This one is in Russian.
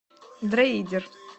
дрейдер